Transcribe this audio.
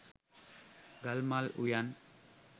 ගල්මල් උයන්